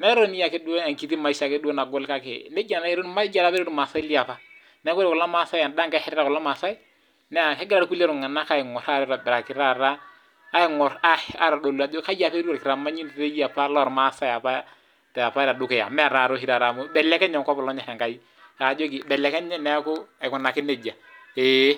taaduo enkiti maisha ake kake neija naa etiu ilmaasai liopa En'danga eshetita kulo tung'anak aingur aitobiraki taata aingur ajo kai opa etiu olkitamanyinoto lormaasai apa tedukuya mee taataa amu ibelekenye enkop olonyor Enkai aajoki ibelekenye aikunaki neija eeh